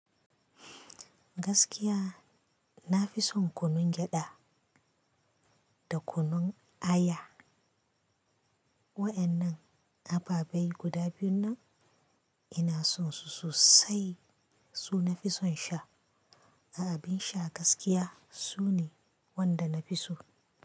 Gaskiya na fi son kunun gyada da kunun aya. Wa'annan ababai guda biyun nan ina son su sosai. Su nafi son sha. A abin sha gaskiya su ne wanda na fi so.